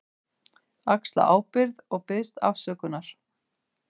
Axla ábyrgð og biðst afsökunar.